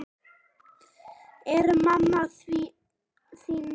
Er mamma þín við?